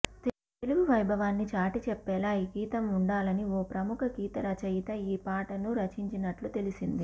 తెలుగు వైభవాన్ని చాటి చెప్పేలా ఈ గీతం ఉండాలని ఓ ప్రముఖ గీత రచయిత ఈ పాటను రచించినట్టు తెలిసింది